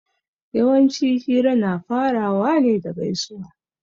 Yawanci hira na farawa ne da gaisuwa